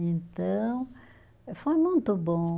Então, foi muito bom.